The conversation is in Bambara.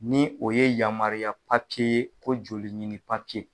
Ni o ye yamariya ko joli ɲini